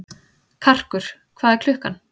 Karkur, hvað er klukkan?